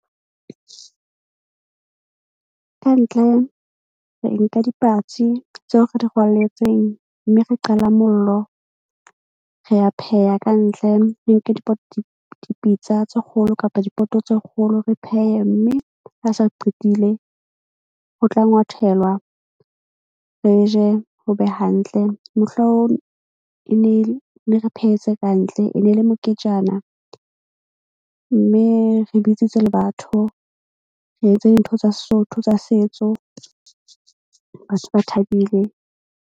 Kantle re nka dipatsi tseo re di rwalletseng, mme re qala mollo, re ya pheha kantle, re nke dipitsa tse kgolo kapa dipoto tse kgolo. Re phehe mme ha se re qetile. Ho tla ngwathelwa re je ho be hantle. e ne re phehetse kantle e ne le moketjana. Mme re bitsitse le batho, re etse dintho tsa Sesotho tsa setso, batho ba thabile.